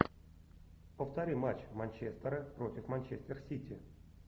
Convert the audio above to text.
повтори матч манчестера против манчестер сити